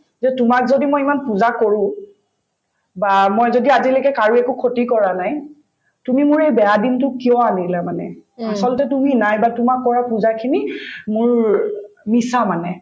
যে তোমাক যদি মই ইমান পূজা কৰো বা মই যদি আজিলৈকে কাৰো একো খতি কৰা নাই তুমি মোৰ এই বেয়া দিনতো কিয় আনিলা মানে আচলতে তুমি নাই বা তোমাক কৰা পূজাখিনি মোৰ মিছা মানে